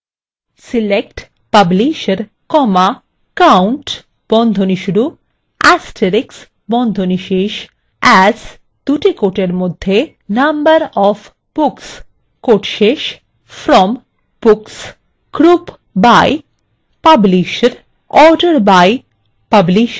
select publisher count * as number of books from books